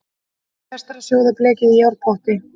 Best er að sjóða blekið í járnpotti.